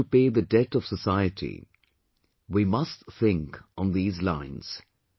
We have to pay the debt of society, we must think on these lines